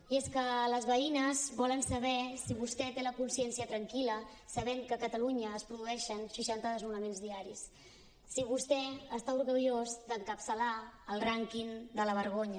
i és que les veïnes volen saber si vostè té la consciència tranquil·la sabent que a catalunya es produeixen seixanta desnonaments diaris si vostè està orgullós d’encapçalar el rànquing de la vergonya